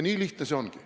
Nii lihtne see ongi.